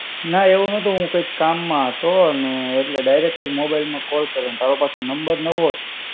ના એવું નતું હું કંઈક કામ માં હતો અને એટલે direct જ mobile માં call કર્યો અને તારો પાછો number નવો છે.